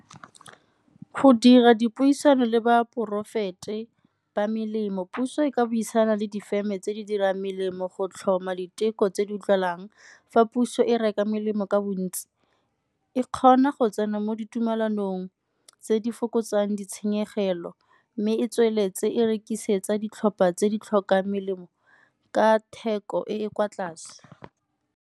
Go dira dipuisano le ba ba melemo, puso e ka buisana le difeme tse di dirang melemo go tlhoma diteko tse di utlwalang. Fa puso e reka melemo ka bontsi e kgona go tsena mo ditumelanong tse di fokotsang ditshenyegelo mme e tsweletse e rekisetsa ditlhopha tse di tlhokang melemo ka theko e e kwa tlase.